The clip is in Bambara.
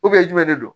jumɛn de don